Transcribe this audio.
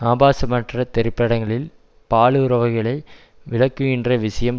ஆபாசமற்ற திரைப்படங்களில் பாலுறவுகளை விளக்குகின்ற விஷயம்